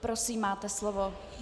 Prosím, máte slovo.